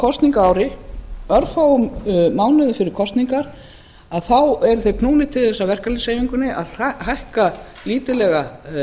kosningaári örfáum mánuðum fyrir kosningar þá eru þeir knúnir til þess af verkalýðshreyfingunni að hækka lítillega